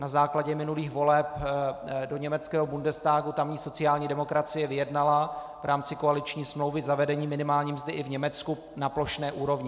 Na základě minulých voleb do německého Bundestagu tamní sociální demokracie vyjednala v rámci koaliční smlouvy zavedení minimální mzdy i v Německu na plošné úrovni.